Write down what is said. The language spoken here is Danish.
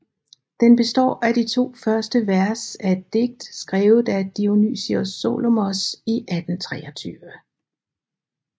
Den består af de to første vers af et digt skrevet af Dionysius Solomos i 1823